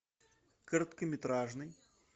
короткометражный